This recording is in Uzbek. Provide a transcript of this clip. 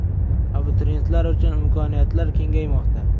Abituriyentlar uchun imkoniyatlar kengaymoqda!.